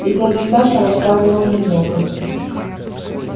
и дядя саша рассказывал немного